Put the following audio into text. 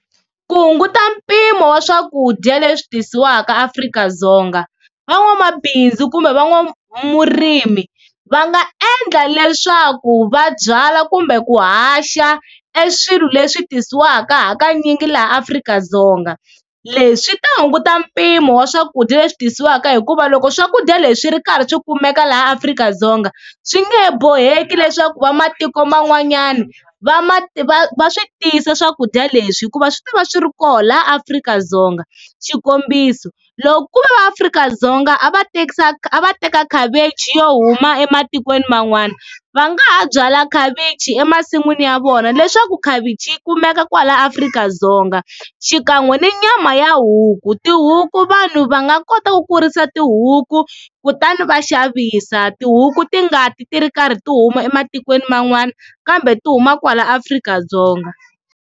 Ku hunguta mpimo wa swakudya leswi tisiwaka Afrika-Dzonga, van'wamabindzu kumbe van'wamurimi va nga endla leswaku va byala kumbe ku haxa e swilo leswi tisiwaka, hakanyingi laha Afrika-Dzonga leswi swi ta hunguta mpimo wa swakudya leswi tisiwaka hikuva loko swakudya leswi ri karhi swi kumeka laha Afrika-Dzonga, swi nge he boheki leswaku va matiko man'wanyana va ma va va swi tisa swakudya leswi hikuva swi ta va swi ri kona la Afrika-Dzonga, xikombiso loko ku va Afrika-Dzonga a va a va teka cabbage yo huma ematikweni man'wana, va nga ha byala khavichi emasin'wini ya vona leswaku khavichi yi kumeka kwala Afrika-Dzonga xikan'we ni nyama ya huku, tihuku vanhu va nga kota ku kurisa tihuku kutani va xavisa tihuku ti ngati ti ri karhi ti huma ematikweni man'wana kambe ti huma kwala Afrika-Dzonga.